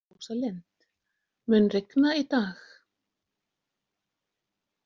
Rósalind, mun rigna í dag?